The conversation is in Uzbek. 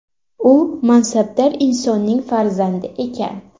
U mansabdor insonning farzandi ekan.